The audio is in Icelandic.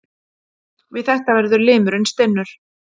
Við þetta verður limurinn stinnur.